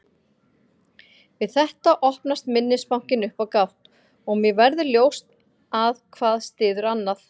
Við þetta opnast minnisbankinn upp á gátt og mér verður ljóst að hvað styður annað.